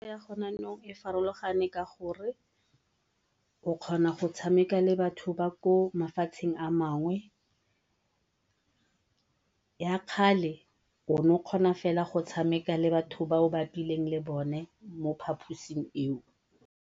ya go ne yanong e farologane ka gore o kgona go tshameka le batho ba ko mafatsheng a mangwe, ya kgale o ne o kgona fela go tshameka le batho ba o bapileng le bone mo phaposing eo.